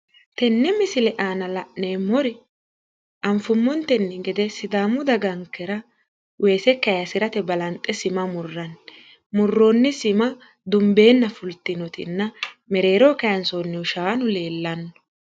tenne misile aana la'neemmori anfummontenni gede sidaamu dagankera weese kaasirate balanxe sima murranni tini sima dunbeenna fultinotenna mereeroho kaansoonnihu shaanu leellanno.